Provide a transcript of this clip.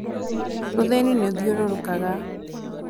ũthĩni nĩ ũthiũrũrũkaga